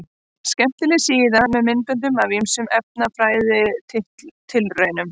Skemmtileg síða með myndböndum af ýmsum efnafræðitilraunum.